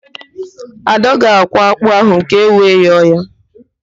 Ada ga-akwọ ákpụ́ ahụ ka ewe yọọ ya